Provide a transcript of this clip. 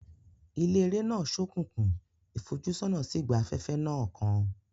Ilé eré náà ṣókùnkùn, ìfojúsọ́nà sì gba afẹ́fẹ́ náà kan.